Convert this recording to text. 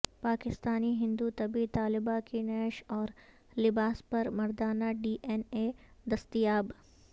پاکستانی ہندو طبی طالبہ کی نعش اور لباس پر مردانہ ڈی این اے دستیاب